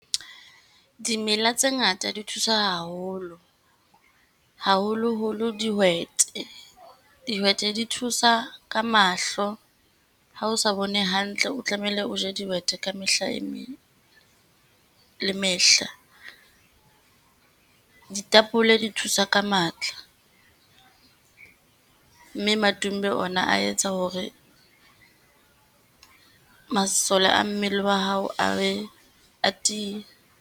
Dimela tse ngata di thusa haholo, haholoholo dihwete. Dihwete di thusa ka mahlo. Ha o sa bone hantle, o tlamehile o je dihwete ka mehla e meng le mehla. Ditapole di thusa ka matla, mme madumbe ona a etsa hore masole a mmele wa hao a be, a tiye.